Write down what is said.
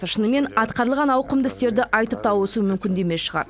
шынымен атқарылған ауқымды істерді айтып тауысу мүмкін де емес шығар